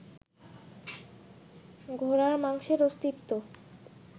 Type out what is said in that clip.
ঘোড়ার মাংসের অস্তিত্ব